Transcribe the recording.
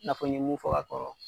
Nafɔ n ye mun fɔ ka kɔrɔ